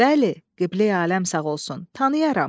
Bəli, qibləyi aləm sağ olsun, tanıyaram.